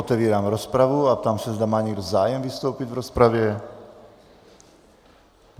Otevírám rozpravu a ptám se, zda má někdo zájem vystoupit v rozpravě.